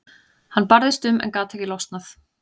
Hann barðist um en gat ekki losnað.